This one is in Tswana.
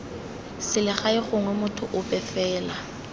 selegae gongwe motho ope fela